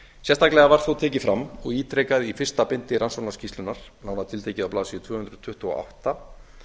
sérstaklega var þó tekið fram og ítrekað í fyrsta bindi rannsóknarskýrslunnar nánar tiltekið á blaðsíðu tvö hundruð tuttugu og átta